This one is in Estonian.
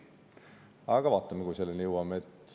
Aga, kuni selleni jõuame.